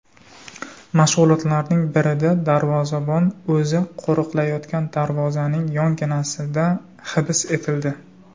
Mashg‘ulotlarning birida darvozabon o‘zi qo‘riqlayotgan darvozaning yonginasida hibs etildi.